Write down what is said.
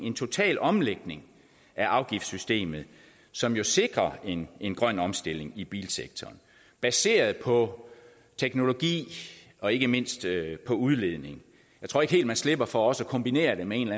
en total omlægning af afgiftssystemet som jo sikrer en en grøn omstilling i bilsektoren baseret på teknologi og ikke mindst på udledning jeg tror ikke helt man slipper for også at kombinere det med en